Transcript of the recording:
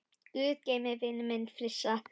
Guð geymi vininn minn Frissa.